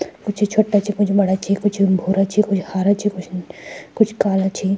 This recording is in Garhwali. कुछ छोट्टा छि कुछ बड़ा छि कुछ भूरा छि कुछ हरा छि कुछ कुछ काला छिं।